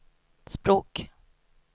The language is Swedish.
språk